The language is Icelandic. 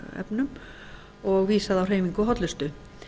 efnum og vísað á hreyfingu og hollustu